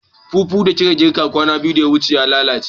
Fufu da kika girka kwana biyu da ya wuce ya lalace